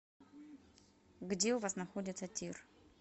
где у вас находится тир